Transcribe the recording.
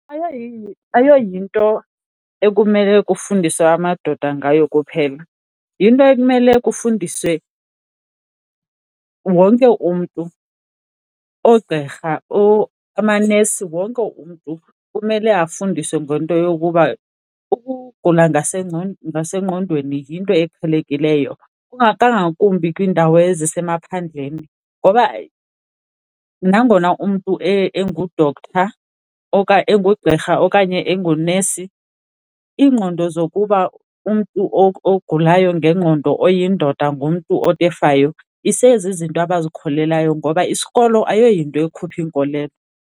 Ayoyinto ekumele kufundiswe amadoda ngayo kuphela, yinto ekumele kufundiswe wonke umntu, oogqirha amanesi. Wonke umntu kumele afundiswe ngento yokuba ukugula ngasengqondweni yinto eqhelekileyo, kangakumbi kwiindawo ezisemaphandleni ngoba nangona umntu engu-doctor engugqirha okanye engunesi, iingqondo zokuba umntu ogulayo ngengqondo oyindoda ngumntu otefayo isezizinto abazikholelwayo ngoba isikolo ayoyinto ekhupha iinkolelo.